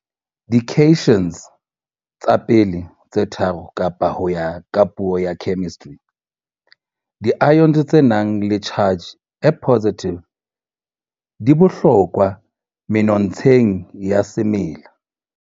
Di-cations tsa pele tse tharo kapa ho ya ka puo ya chemistry, 'di-ions tse nang le charge e positive' di bohlokwa menontsheng ya semela.